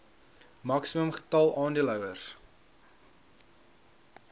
maksimum getal aandeelhouers